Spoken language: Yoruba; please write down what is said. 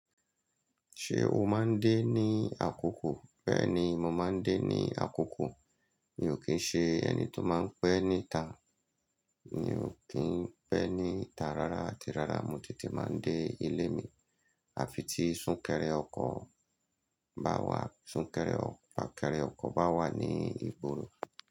Ṣé o máa ń dé ní àkókò? Bẹ́ẹ̀ni, mo máa ń dé ní àkókò. Mi ò kí ń ṣe ẹni tó máa ń pẹ́ níta. Mi ò kí ń pẹ́ níta rárá àti rárá mo tètè máa ń dé ilé mi àfi tí súnkẹrẹ ọkọ̀ bá wà, súnkẹrẹ fakere ọkọ̀ bá wà ní ìgboro.